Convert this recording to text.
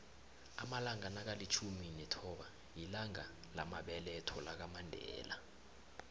amalanga nakalitjhumi nethoba lilanga lamabeletho lakamandela